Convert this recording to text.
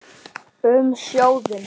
Um sjóðinn